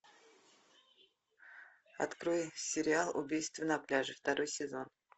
открой сериал убийство на пляже второй сезон